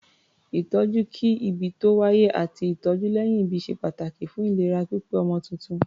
Ìtọ́jú kí-ìbí-tó-wáyé àti ìtọ́jú lẹ́yìn-ìbí ṣe pàtàkì fún ìlera pípé ọmọ tuntun.